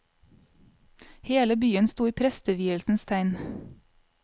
Hele byen sto i prestevielsens tegn.